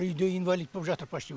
үйде инвалид боп жатыр почти